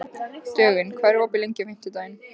Dögun, hvað er opið lengi á fimmtudaginn?